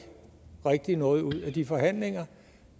rigtig kommer noget ud af de forhandlinger